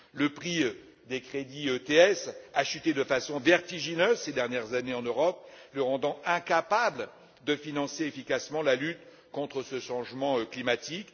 Le prix des crédits ETS a chuté de façon vertigineuse ces dernières années en Europe, la rendant incapable de financer efficacement la lutte contre le changement climatique.